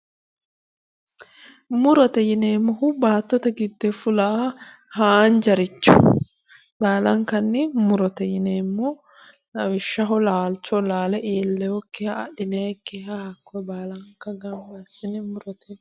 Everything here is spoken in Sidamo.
Murote yineemmohu baattote giddoyi fulaaha haanjaricho baalankanni murote yineemmo lawishaho laalcho laale iillewokkiha adhnayikkiha hakkoye baalanka gamba assine murote yinanni